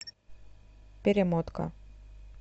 перемотка